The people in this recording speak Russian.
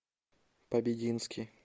побединский